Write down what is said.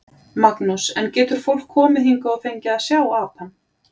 Magnús: En getur fólk komið hingað og fengið að sjá apann?